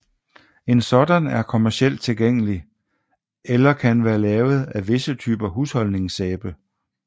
En sådan er kommercielt tilgængelig eller kan være lavet af visse typer husholdningssæbe